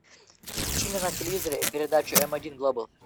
включи мне на телевизоре передачу эм один глобал